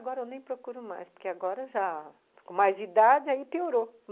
Agora eu nem procuro mais, porque agora já... Com mais idade, aí piorou.